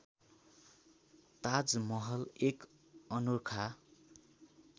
ताजमहल एक अनोखा